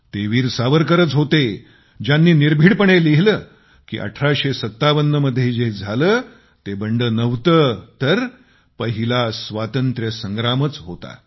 ते वीर सावरकरच होते ज्यांनी निर्भिडपणे लिहिले की 1857 मध्ये जे झाले ते बंड नव्हते तर पहिला स्वातंत्र्यसंग्रामच होता